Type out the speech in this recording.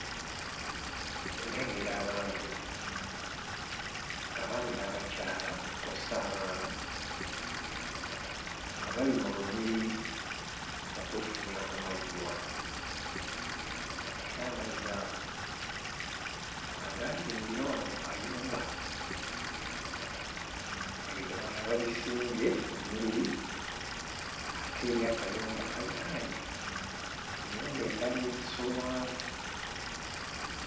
Nnengera abantu abaami n'abakyala kw'ossa abaana nga bali mu lunyiriri okwefunira ku mazzi wano era amazzi ago nga gaazimbirwa wano ku kayumba ebidomola babisimbye ennyiriri ate eri akayumba kaliraanye ennyumba endala ezisulwamu.